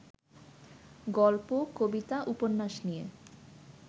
গল্প, কবিতা, উপন্যাস নিয়ে